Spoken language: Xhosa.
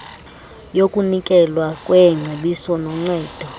yokunikelwa kweengcebiso noncedo